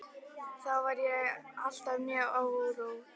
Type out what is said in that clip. Þá var mér alltaf mjög órótt.